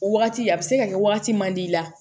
O wagati a be se ka kɛ wagati man di i la